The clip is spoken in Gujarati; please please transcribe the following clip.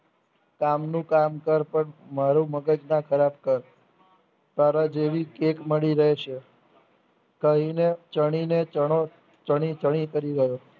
કામનું કામ કર પણ મારુ મગજ ના ખરાબ કર તારાજેવી કૈક મળી રહેશે કહીને ચણીને ચણો ચણી ચણી કરી રહ્ય